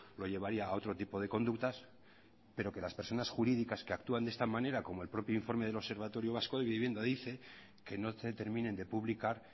lo llevaría a otro tipo de conductas pero que las personas jurídicas que actúan de esta manera como el propio informe del observatorio vasco de vivienda dice que no se terminen de publicar